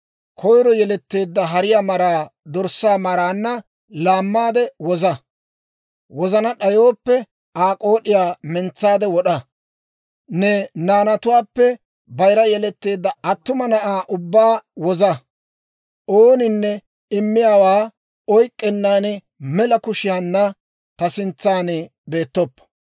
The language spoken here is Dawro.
koyro yeletteedda hariyaa maraa dorssaa maraanna laammaade woza; wozana d'ayooppe, Aa k'ood'iyaa mentsaade wod'a. Ne naanatuwaappe bayira yeletteedda attuma na'aa ubbaa woza. «Ooninne immiyaawaa oyk'k'ennan, mela kushiyaanna ta sintsaan beettoppo.